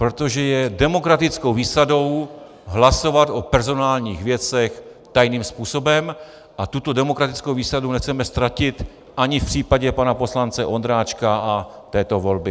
Protože je demokratickou výsadou hlasovat o personálních věcech tajným způsobem a tuto demokratickou výsadu nechceme ztratit ani v případě pana poslance Ondráčka a této volby.